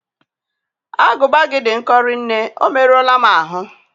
Agụba gị dị nkọ rinne, o merụọla m ahụ